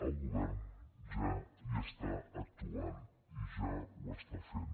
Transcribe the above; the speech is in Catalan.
el govern ja hi està actuant i ja ho està fent